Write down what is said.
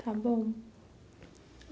Está bom.